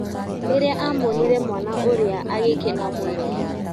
Rĩriĩ amwonire mwana ũrĩa agĩkena mũno.